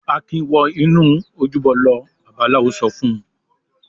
"Akin wọ inú ojúbọ lọ!" Babaláwo náà sọ fún un.